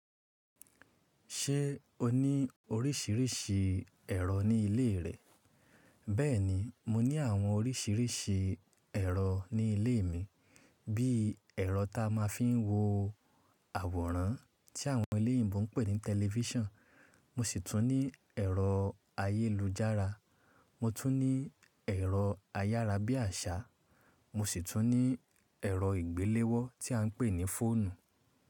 Ṣé o ní oríṣiríṣi ẹ̀rọ ní ilé rẹ? Bẹ́ẹ̀ni, mo ní àwọn oríṣiríṣi ẹ̀rọ ní ilé mi, bí i ẹ̀rọ ta máa ń fi wo àwòrán tí àwọn olòyìnbó ń pè ní tẹlifíṣàn, mo sì tún ní ẹ̀rọ ayélujára, mo tún ní ẹ̀rọ ayára bí àṣá, mo sì tún ní ẹ̀rọ ìgbéléwọ́ tí à ń pè ní fóònù.